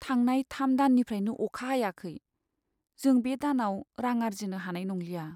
थांनाय थाम दाननिफ्रायनो अखा हायाखै। जों बे दानाव रां आर्जिनो हानाय नंलिया।